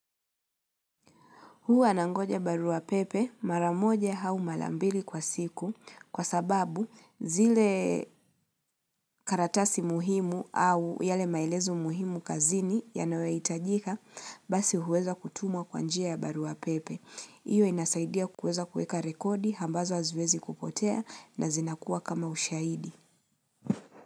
Hua nangoja barua pepe mara moja au mara mbili kwa siku kwa sababu zile karatasi muhimu au yale maelezo muhimu kazini yanayo hitajika basi huweza kutumwa kwa njia ya barua pepe. Iyo inasaidia kuweza kueka rekodi ambazo haziwezi kupotea na zinakuwa kama ushahidi.